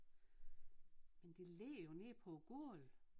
Men det ligger jo nede på gulv